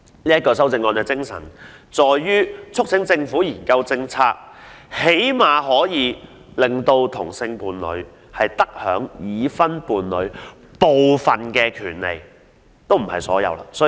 我的修正案的精神在於促請政府研究政策，最低限度讓同性伴侶得享已婚伴侶部分而非所有權利。